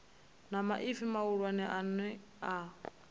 na maipfi mahulwane a no